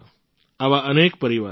આવા અનેક પરિવારો છે